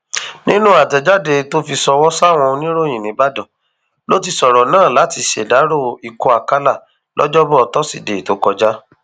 nínú àtẹjáde tó fi ṣọwọ sáwọn oníròyìn nìbàdàn ló ti sọrọ náà láti ṣèdàrọ ikú àkàlà lọjọbọ tosidee tó kọjá